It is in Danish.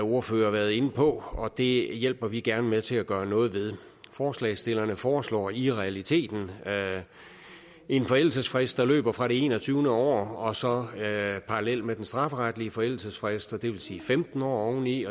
ordfører været inde på og det hjælper vi gerne med til at gøre noget ved forslagsstillerne foreslår i realiteten en forældelsesfrist der løber fra det enogtyvende år og så parallelt med den strafferetlige forældelsesfrist det vil sige femten år oveni